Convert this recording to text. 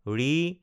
ঋ